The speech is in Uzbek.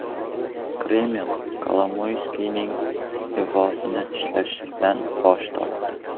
Kreml Kolomoyskiyning iste’fosini izohlashdan bosh tortdi.